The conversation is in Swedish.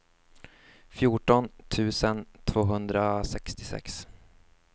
fjorton tusen tvåhundrasextiosex